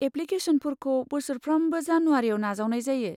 एप्लिकेसनफोरखौ बोसोरफ्रोमबो जानुवारिआव नाजावनाय जायो।